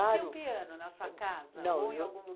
Você tinha um piano na sua casa ou em algum